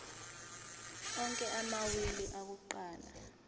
onke amawili akuqala